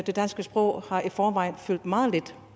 det danske sprog har i forvejen fyldt meget lidt